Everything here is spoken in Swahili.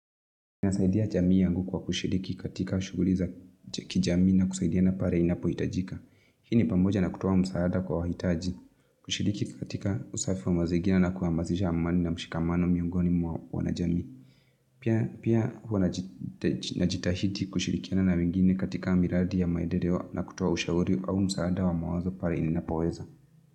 Nasaidia jamii yangu kwa kushiriki katika shughuli za kijamii na kusaidiana pare inapohitajika. Hii ni pamoja na kutoa msaada kwa wahitaji. Kushiriki katika usafi wa mazingira na kuhamasisha amani na mshikamano miongoni mwa wanajamii. Pia huwa najitahidi kushirikiana na wengine katika miradi ya maendeleo na kutoa ushauri au msaada wa mawazo pare ninapoweza.